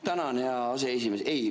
Tänan, hea aseesimees!